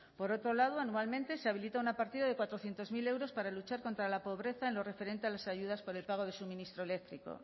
por otro lado anualmente se habilita una partida de cuatrocientos mil euros para luchar contra la pobreza en lo referente a las ayudas por el pago del suministro eléctrico